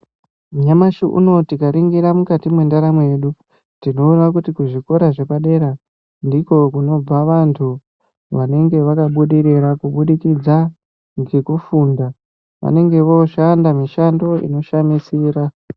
Nyamashi unowu tikaringira mukati mwendaramo yedu, tinoona kuti kuzvikora zvepadera ndiko kunobva vanthu vanenge vakabudirira, kubudikidza ngekufunda. Vanenge vooshanda mishando inoshamisira.